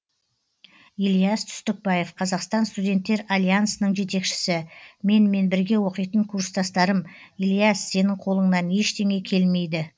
ильяс түстікбаев қазақстан студенттер альянсының жетекшісі менімен бірге оқитын курстастарым ильяс сенің қолыңнан ештеңе келмейді